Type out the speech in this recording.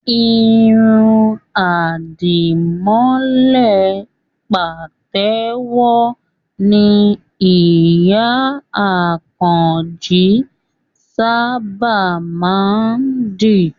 Irun àdìmọ́lẹ̀ pàtẹ́wọ́ ni ìyá Àkànjí sábà má ń dì